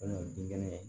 kɛnɛ